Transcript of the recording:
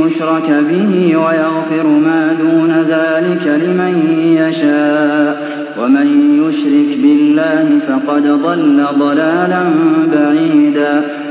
يُشْرَكَ بِهِ وَيَغْفِرُ مَا دُونَ ذَٰلِكَ لِمَن يَشَاءُ ۚ وَمَن يُشْرِكْ بِاللَّهِ فَقَدْ ضَلَّ ضَلَالًا بَعِيدًا